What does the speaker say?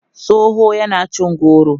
tsohon yana cin goro